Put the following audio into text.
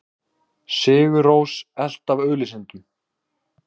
Sigur Rós elt af auglýsendum